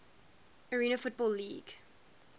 arena football league